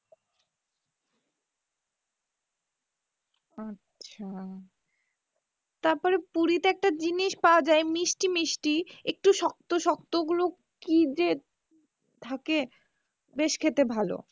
আচ্ছা তারপরে পুরিতে একটা জিনিস পাওয়া যায় মিষ্টি মিষ্টি, একটু শক্ত শক্ত ওগুলো কী যে থাকে বেশ খেতে ভালো,